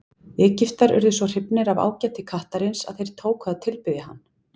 Egyptar urðu svo hrifnir af ágæti kattarins að þeir tóku að tilbiðja hann.